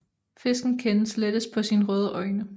Fisken kendes lettest på sine røde øjne